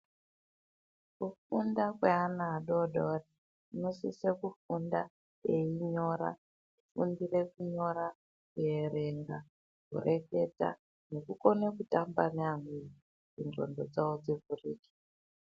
Kufunda kweana adodori vanosise kufunda einyora kufundire kunyora ,kuerenga ,kureketa nekukone kutamba neamweni kuti nxondo dzavo dzivhurike.